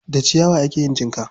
Da ciyawa ake yin jinka.